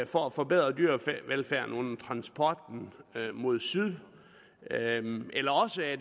for at forbedre dyrevelfærden under transporten mod syd eller også er